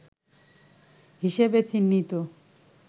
হিসেবে চিহ্নিত